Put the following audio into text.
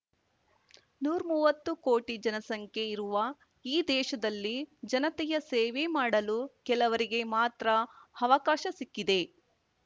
ನೂರ್ ಮುವ್ವತ್ತು ಕೋಟಿ ಜನಸಂಖ್ಯೆ ಇರುವ ಈ ದೇಶದಲ್ಲಿ ಜನತೆಯ ಸೇವೆ ಮಾಡಲು ಕೆಲವರಿಗೆ ಮಾತ್ರ ಅವಕಾಶ ಸಿಕ್ಕಿದೆ